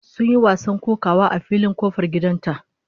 Sun yi wasan kokawa a filin kofar gidan ta